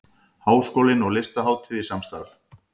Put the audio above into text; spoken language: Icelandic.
Háskólinn og Listahátíð í samstarf